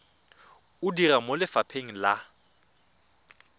o dira mo lefapheng la